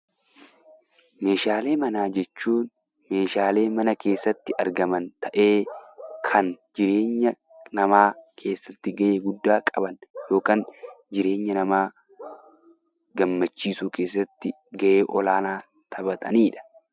Meeshaalee manaa jechuun meeshaalee mana keessatti argaman ta'ee; kan jireenya namaa keessatti ga'ee guddaa qaban yookiin jireenya namaa gammachiisuu keessatti ga'ee olaanaa taphataniidha.